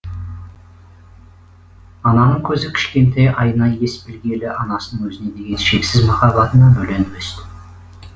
ананың көзі кішкентай айна ес білгелі анасының өзіне деген шексіз махаббатына бөленіп өсті